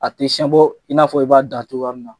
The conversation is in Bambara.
A tɛ in n'a fɔ i b'a dan cogoya min na